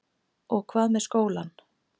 Og hvað með skólann?